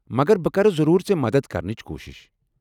مگر بہٕ كرٕ ضروٗر ژے٘ مدتھ كرنٕچ كوٗشِش ۔